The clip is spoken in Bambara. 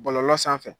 Bɔlɔlɔ sanfɛ